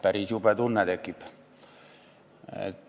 Päris jube tunne tekib.